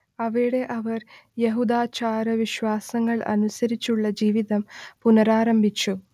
അവിടെ അവർ യഹൂദാചാരവിശ്വാസങ്ങൾ അനുസരിച്ചുള്ള ജീവിതം പുനരാരംഭിച്ചു